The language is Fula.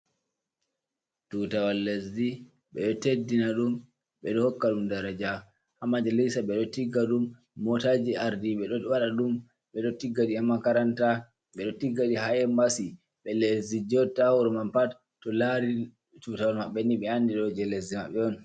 Tutawal lesdi, ɓeɗo teddina ɗum, ɓeɗo hokka ɗum daraja. Hamajalisa ɓeɗo tigga ɗum. Motaji ardiɓe ɗo waɗa ɗum. Ɓeɗo tigga ɗi ha makaranta, ɓeɗo tigga ɗi ha embasi. Ɓiɓɓe lesdi joɗa 'ta ha ton pat to lari tutawal maɓɓe ni ɓe andi je lesdi maɓɓe on.